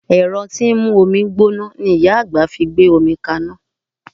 Ẹ̀rọ tí ń mú omi gbóná ni Ìyá àgbà fi gbé omi kaná